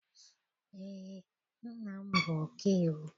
Eé, nna m bụ ọkaiwu.